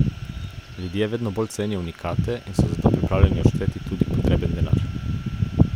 Ljudje vedno bolj cenijo unikate in so za to pripravljeni odšteti tudi potreben denar.